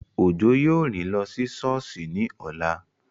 Òjó yóò rìn lọ sí sọ́ọ̀sì ní ọ̀la